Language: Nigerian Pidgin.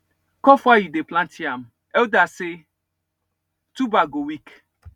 cough while you dey plant yam elders say tuber go weak